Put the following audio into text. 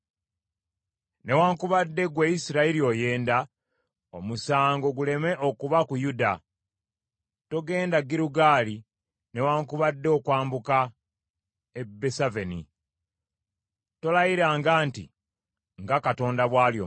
“Newaakubadde ggwe Isirayiri oyenda, omusango guleme okuba ku Yuda. Togenda Girugaali, newaakubadde okwambuka e Besaveni. Tolayiranga nti, ‘Nga Katonda bw’ali omulamu.’